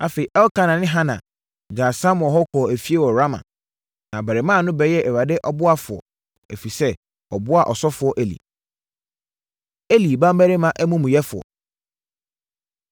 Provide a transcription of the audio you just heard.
Afei, Elkana ne Hana gyaa Samuel hɔ kɔɔ efie wɔ Rama. Na abarimaa no bɛyɛɛ Awurade ɔboafoɔ, ɛfiri sɛ, ɔboaa ɔsɔfoɔ Eli. Eli Mmammarima Amumuyɛfoɔ